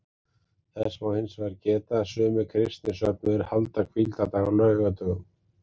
Þess má hins vegar geta að sumir kristnir söfnuðir halda hvíldardag á laugardögum.